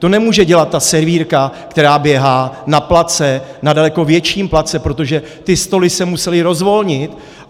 To nemůže dělat ta servírka, která běhá na place, na daleko větším place, protože ty stoly se musely rozvolnit.